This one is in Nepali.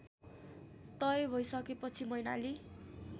तय भइसकेपछि मैनाली